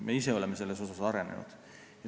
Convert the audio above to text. Me ise oleme selles arenenud.